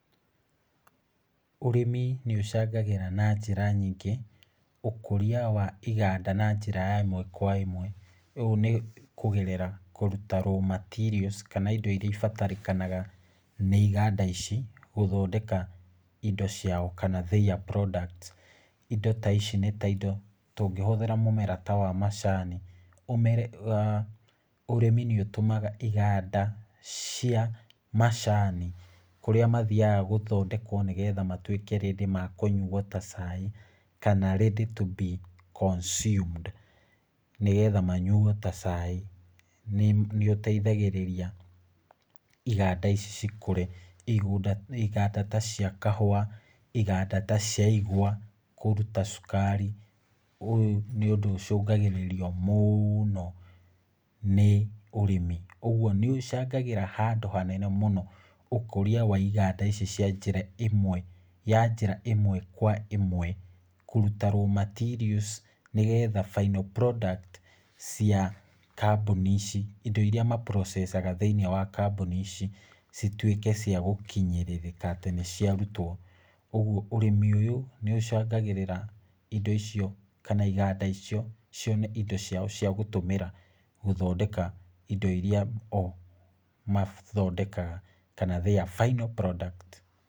Ũrĩmi nĩ ũcangagĩra na njĩra nyingĩ, ũkũria wa iganda na njĩra ya ĩmwe kwa ĩmwe , ũũ nĩ kũgerera kũruta raw materials, kana indo iria ibatarĩkanaga nĩ iganda ici gũthondeka indo ciao, kana their product , indo ta ici nĩ indo tũngĩhũthĩra mũmera ta wa macani , ũrĩmi nĩ ũtũmaga iganda cia macani kũrĩa mathiaga gũthondekwo nĩgwo matwĩke ready kũnyuo ta cai, kana read to be consumed, nĩgetha manyuo ta cai, nĩ ũteithagĩrĩria iganda ici cikũre, iganda ta cia kahua, iganda ta cia igwa kũruta cukari, ũyũ nĩ ũndũ ũcũngagĩrĩrio mũno nĩ ũrĩmi , ũgwo nĩ ũcangagĩra handũ hanene mũno ũkũria wa iganda ici cia njĩra ĩmwe ya njĩra ĩmwe kwa ĩmwe, kũruta raw materials nĩgetha final product cia kambũni ici , indo iria maprocecaga thĩiniĩ wa kambũni ici citwĩke cia gũkinyĩrĩrĩka atĩ nĩ cia rutwo, ũgwo ũrĩmi ũyũ nĩ ũcangagĩrĩra indo icio kana iganda icio cione indo ciao cia gũtũmĩra gũthondeka indo iria o mathondekaga, kana their final product.